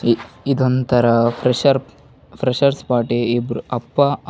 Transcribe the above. ಇದೊಂತರ fresher freshers party ಇಬ್ಬ್ರು ಅಪ್ಪ ಅಮ್ಮ --